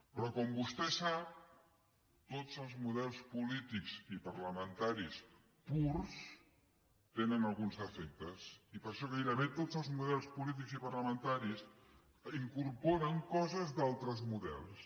però com vostè sap tots els models polítics i parlamentaris purs tenen alguns defectes i per això gairebé tots els models polítics i parlamentaris incorporen coses d’altres models